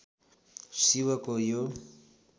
शिवको यो